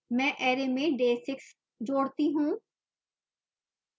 मैं array में day 6 जोड़ता हूँ